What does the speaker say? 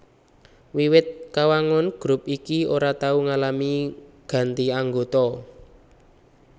Wiwit kawangun grup iki ora tau ngalami ganti anggota